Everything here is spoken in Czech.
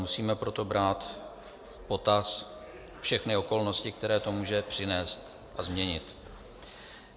Musíme proto brát v potaz všechny okolnosti, které to může přinést a změnit.